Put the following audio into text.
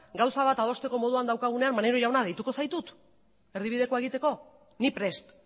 gauza bat adosteko moduan daukagunean maneiro jauna deituko zaitut erdibidekoa egiteko ni prest